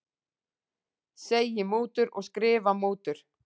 Segi mútur og skrifa mútur